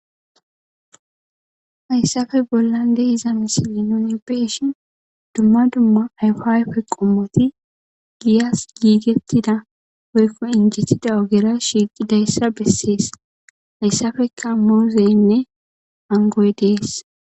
hayssafe bollan de iza misili nuni beshin dumma dumma ayfaaawepe qommoti giyas giigettida oykko injettida ogera shiiqidayssa bessees hayssafeqa moozeynne angoy dees